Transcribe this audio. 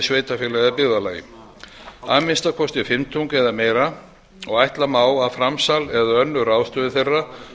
eða byggðarlagi að minnsta kosti fimmtung eða meira og ætla má að framsal eða önnur ráðstöfun þeirra